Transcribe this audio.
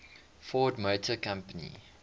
ford motor company